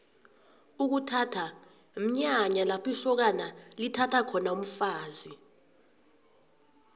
ukuthatha mnyanya lapho isokana lithatha khona umfazi